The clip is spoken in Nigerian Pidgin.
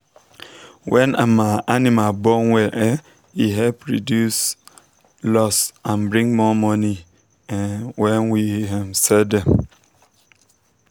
when um animal born well e help reduce loss and bring more money um when we um sell dem.